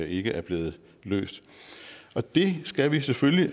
ikke er blevet løst og det skal vi selvfølgelig